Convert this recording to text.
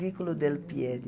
Vículo del Piede.